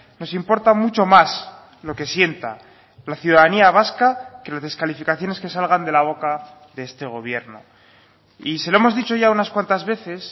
nos importa mucho más lo que sienta la ciudadanía vasca que las descalificaciones que salgan de la boca de este gobierno y se lo hemos dicho ya unas cuantas veces